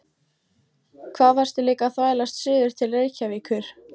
Hvað varstu líka að þvælast suður til Reykjavíkur?